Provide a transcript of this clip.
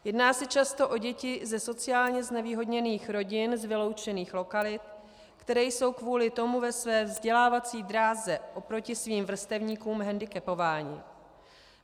Jedná se často o děti ze sociálně znevýhodněných rodin z vyloučených lokalit, které jsou kvůli tomu ve své vzdělávací dráze oproti svým vrstevníkům hendikepovány.